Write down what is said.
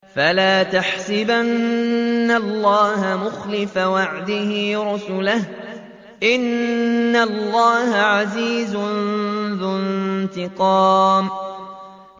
فَلَا تَحْسَبَنَّ اللَّهَ مُخْلِفَ وَعْدِهِ رُسُلَهُ ۗ إِنَّ اللَّهَ عَزِيزٌ ذُو انتِقَامٍ